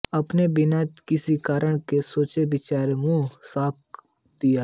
आपने बिना किसी कारण के सोचे विचारे मुझे शाप दिया है